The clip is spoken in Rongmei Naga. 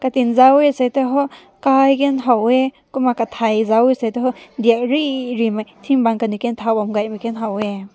zaw weh te toh kai ken haw weh kumna katai zao weh te toh dai riri ting bang kum hao weh.